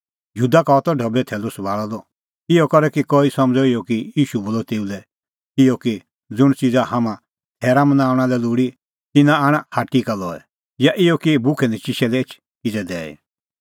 यहूदा का हआ त ढबैओ थैलू सभाल़अ द इहअ करै कई समझ़अ इहअ कि ईशू बोलअ तेऊ लै इहअ कि ज़ुंण च़िज़ा हाम्हां थैरा मनाऊंणा लै लोल़ी तिन्नां आण हाट्टी का लई या इहअ कि भुखैनचिशै लै एछ किज़ै दैई